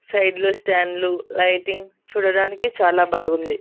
Side లో స్టాండ్లు lighting చూడడానికి చాలా బాగుంది.